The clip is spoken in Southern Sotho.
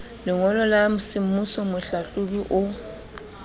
lengolo la semmuso mohlahlobi o